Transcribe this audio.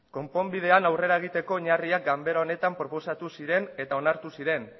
konponbidean aurrera egiteko oinarriak ganbara honetan proposatu ziren eta onartu ziren